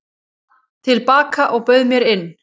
til baka og bauð mér inn.